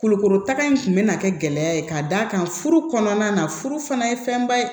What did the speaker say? Kolokotaga in tun bɛna kɛ gɛlɛya ye ka d'a kan furu kɔnɔna na furu fana ye fɛnba ye